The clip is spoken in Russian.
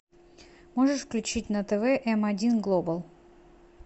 можешь включить на тв м один глобал